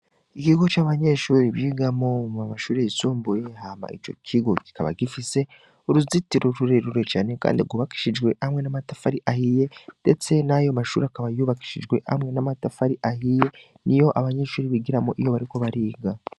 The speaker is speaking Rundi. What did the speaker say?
Igigo c'abanyeshuri byigamoma mashuri risumbuye hama ico kigo gikaba gifise uruzitiro rurirure cane, kandi agubakishijwe hamwe n'amatafari ahiye, ndetse nayo mashuri akaba yubakishijwe hamwe n'amatafari ahiye ni yo abanyenshuri bigira mo iyo bariko bariga.